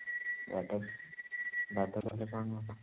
ବାଦ ବାଦ କଲେ କଣ ହବ?